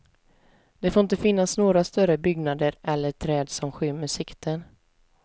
Det får inte finnas några större byggnader eller träd som skymmer sikten.